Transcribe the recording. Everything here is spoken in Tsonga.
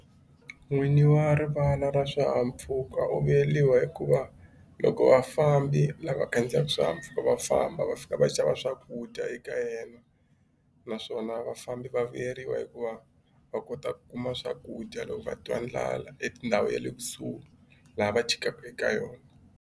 N'winyi wa rivala ra swihahampfuka u vuyeriwa hikuva loko vafambi lava khandziyaka swihahampfuka va famba va fika va xava swakudya eka yena naswona vafambi va vuyeriwa hikuva va kota ku kuma swakudya loko va twa ndlala etindhawu ya le kusuhi laha va chikaka eka yona.